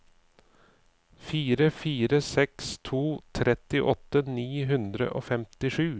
fire fire seks to trettiåtte ni hundre og femtisju